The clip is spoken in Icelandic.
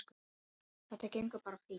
Þetta gengur bara fínt.